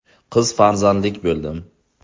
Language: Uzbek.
Qiz farzandlik bo‘ldim.